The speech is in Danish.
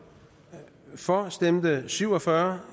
for stemte syv og fyrre